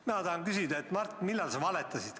Mina tahan küsida, et Mart, millal sa valetasid.